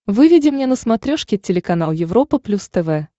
выведи мне на смотрешке телеканал европа плюс тв